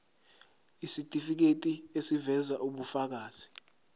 isitifiketi eziveza ubufakazi